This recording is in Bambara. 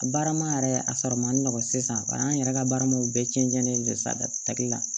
A baara ma yɛrɛ a sɔrɔ man di nɔgɔ sisan an yɛrɛ ka baara ma bɛɛ cɛncɛn saki la